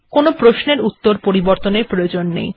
কোনো প্রশ্নের উত্তর পরিবর্তনের প্রয়োজন নেই